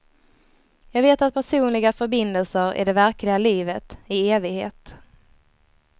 Jag vet att personliga förbindelser är det verkliga livet, i evighet.